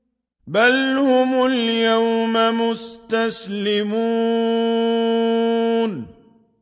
بَلْ هُمُ الْيَوْمَ مُسْتَسْلِمُونَ